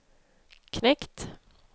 knekt